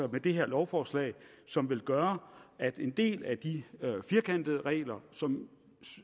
det her lovforslag som vil gøre at en del af de firkantede regler som